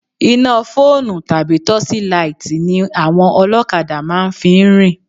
Iná fóònù tàbí tọ́ṣílaìtì ni àwọn ọlọ́kadà kan fi ń rìn.